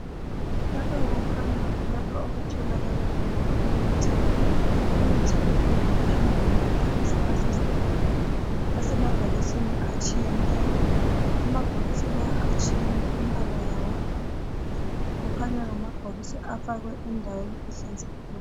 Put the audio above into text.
Lapha kukhanya kulapho okutholakala khona imithi, imithi leyi kukhanya ngama philisi asemabhokisini atshiyeneyo. Amabhokisi lawa atshiyene imbala yawo kukhanya ngamabhokisi afakwe endaweni ehlanzekileyo.